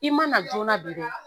I ma na joona bi